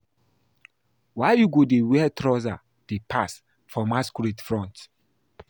Why you go dey wear trouser dey pass for masquerade front?